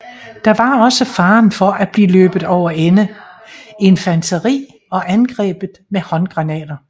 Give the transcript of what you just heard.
Der var også faren for at blive løbet over ende infanteri og angrebet med håndgranater